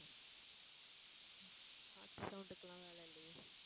காத்து sound க்கு எல்லாம் வேலை இல்லையே.